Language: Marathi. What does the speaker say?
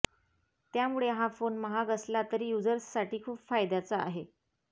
त्यामुळे हा फोन महाग असला तरी युझर्ससाठी खूप फायदाचा आहे